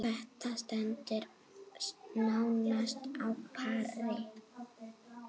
Þetta stendur nánast á pari.